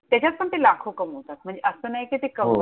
त्याच्यात पण ते लाखो कमावतात, म्हणजे असं नाही कि ते हो कम